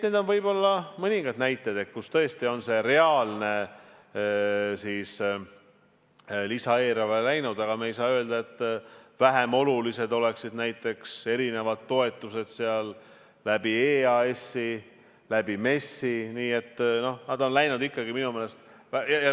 Need on mõningad näited, kuhu tõesti on see reaalne lisaeelarve raha läinud, aga me ei saa öelda, et vähem olulised oleksid näiteks toetused EAS-ist, MES-ist.